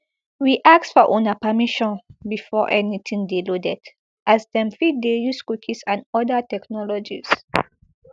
we ask for una permission before anytin dey loaded as dem fit dey use cookies and oda technologies